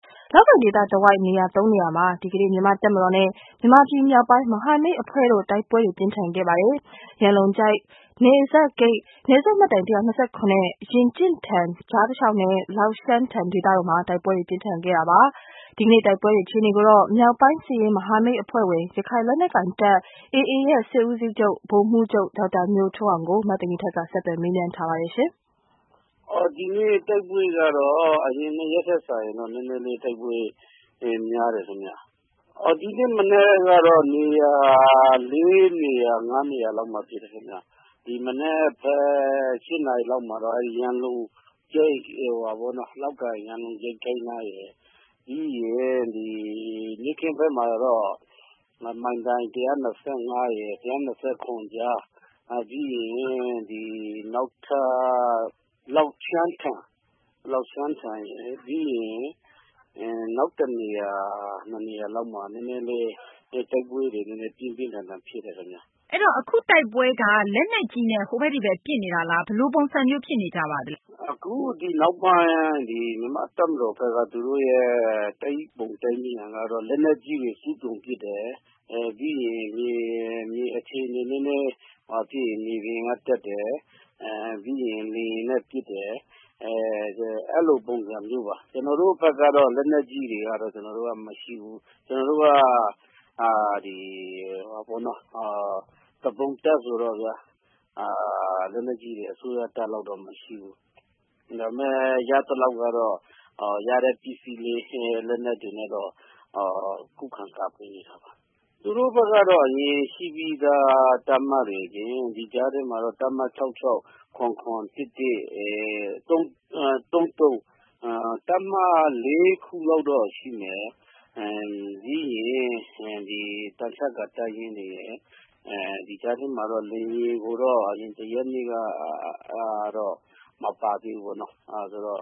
လောက်ကိုင် ဒေသတဝိုက် နေရာ သုံးနေရာမှာ ဒီကနေ့ မြန်မာ့ တပ်မတော်နဲ့ မြန်မာပြည် မြောက်ပိုင်း မဟာမိတ် အဖွဲ့တို့ တိုက်ပွဲတွေ ပြင်းထန်ခဲ့ပါတယ်။ ရန်လုံကျိုက် နယ်စပ်ဂိတ်၊ နယ်စပ်မိုင်တိုင် အမှတ် ၁၂၇ နဲ့ ရင်ကျင့်ထန်ကြား တလျှောက်နဲ့ လောက်ရှန်းထန် ဒေသတို့မှာ တိုက်ပွဲတွေ ပြင်းထန်ခဲ့တာပါ။ ဒီကနေ့ တိုက်ပွဲတွေ အခြေအနေကိုတော့ မြောက်ပိုင်း စစ်ရေး မဟာမိတ် အဖွဲ့ဝင် ရခိုင်လက်နက်ကိုင်တပ် AA ရဲ့ စစ်ဦးစီးချုပ် ဗိုလ်မှူးချုပ် ဒေါက်တာ ညိုထွန်းအောင်ကို မသိင်္ဂ ီထိုက် ဆက်သွယ်မေးမြန်းတဲ့အချိန်မှာ သူက အခုလိုဖြေပါတယ်။ ဖြေ။ ။ဒီကနေ့တိုက်ပွဲကတော့ အရင်ရင်ထက်စာရင်နည်းနည်းလေးများတယ်ခင်ဗျ ။ ဒီနေ့မနက်ကတော့ နေရာ ၄ နေရာ -၅ နေရာလောက်မှာ ဖြစ်တယ်ခင်ဗျ ။ ဒီမနက် ၈ နာရီလောက်မှာတော့ လောက်ကိုင် ရန်လုံကျိုက် နားရယ်၊ နေ့ခင်းဘက်မှာတော့ မိုင်တိုင် ၁၂၅- ၁၂၇ကြား ၊ လောက်ရှန်းထန်ရယ် နောက် ၁ နေရာ ၂ နေရာလောက်မှာ နည်းနည်းလေး တိုက်ပွဲတွေ ပြင်းပြင်းထန်ထန်တွေဖြစ်တယ်ခင်ဗျ။ မေး။ ။အဲဒီတော့ အခုတိုက်ပွဲက လက်နက်ကြီးနဲ့ ဟိုဘက် ဒီဘက် ပစ်နေတာလား ဘယ်လိုပုံစံဖြစ်နေပါသလဲရှင့်။ ဖြေ။ ။အခုနောက်ပိုင်း မြန်မာ့တပ်မတော်ဘက်က သူတို့ရဲ့ တိုက်ပုံကတော့ လက်နက်ကြီးတွေ အစွမ်းကုန်ပစ်တယ်။ မြေပြင်အခြေအနေနည်းနည်းငြိမ်ရင် မြေပြင်က တက်တယ်။ ပြီးရင် လေယာဉ်နဲ့ ပစ်တယ်။ အဲလိုပုံစံမျိုးပါ ကျနော်တို့ဘက်ကတော့ လက်နက်ကြီးတွေကတော့ ကျနော်တို့က မရှိဘူး ကျနော်တို့က သူပုန်တပ်ဆိုတော့ လက်နက်ကြီးတွေ အစိုးရတပ်လောက်တော့မရှိဘူး ။ ရသလောက်ကတော့ ရတဲ့ ပစ္စည်းလေး လက်နက်တွေနဲ့ကတော့ ခုခံကာကွယ်နေတာပါ။ သူတို့ဘက်ကတော့ ဒီရှိပြီးသား တပ်မတွေအပြင် ဒီကြားထဲမှာတော့ တပ်မ ၆၆၊ ၇၇ တွေ ၊ ၁၁၊၃၃ အဲဒီ တပ်မ ၄ ခုလောက်တော့ရှိမယ်။ ပြီးရင် သံချပ်ကာ တပ်ရင်းတွေရယ် ဒီကြားထဲမှာတော့ လေယာဉ်ကိုတော့ အရင် ၁ ရက်နေ့ကတော့ မပါသေးဘူးပေါ့နော် ၊ အဲဒီတော့